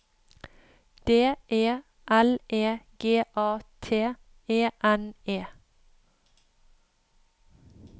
D E L E G A T E N E